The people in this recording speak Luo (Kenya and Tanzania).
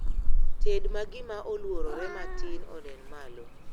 Ted ma gima oluorore matin onen malo